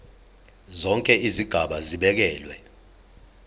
zonke izigaba zibekelwe